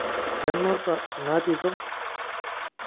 Kenuta ina tito?